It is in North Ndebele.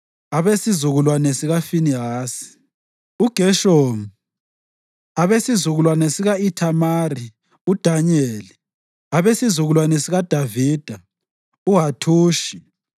abesizukulwane sikaFinehasi, uGeshomu; abesizukulwane sika-Ithamari, uDanyeli; abesizukulwane sikaDavida, uHathushi